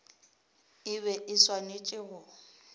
e be e swanetše go